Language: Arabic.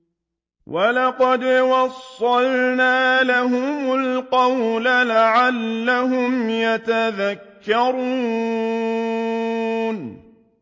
۞ وَلَقَدْ وَصَّلْنَا لَهُمُ الْقَوْلَ لَعَلَّهُمْ يَتَذَكَّرُونَ